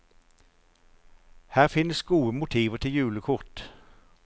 Her finnes gode motiver til julekort.